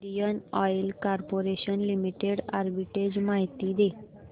Indian Oil Corporation Limited arbitrage माहिती दे